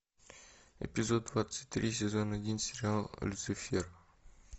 эпизод двадцать три сезон один сериала люцифер